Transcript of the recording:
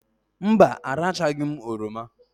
Mba, arachaghị m oroma